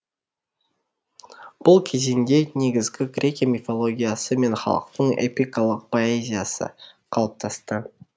бұл кезеңде негізгі грекия мифологиясы мен халықтық эпикалық поэзиясы қалыптасты